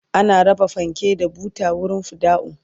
ana raba fanke da buta a wurin fidda'u